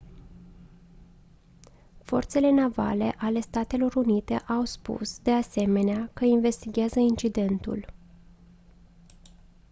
forțele navale ale statelor unite au spus de asemenea că investighează incidentul